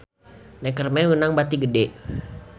Neckerman meunang bati gede